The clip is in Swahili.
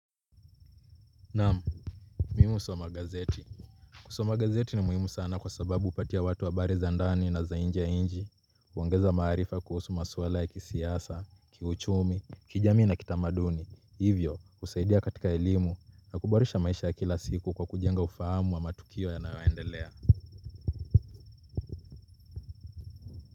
Namu, mimi husoma gazeti. Kusoma gazeti ni muhimu sana kwa sababu hupatia watu habari za ndani na za nje ya nchi huongeza maarifa kuhusu maswala ya kisiasa, kiuchumi, kijamii na kitamaduni. Hivyo, husaidia katika elimu na kuboresha maisha kila siku kwa kujenga ufahamu wa matukio yanayoendelea.